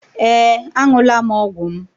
Ee, Aṅụla m ọgwụ m